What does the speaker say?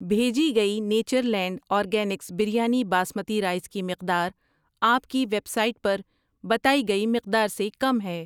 بھیجی گئی Natureland Organics biryani basmati rice کی مقدار آپ کی ویب سائٹ پر بتائی گئی مقدار سے کم ہے۔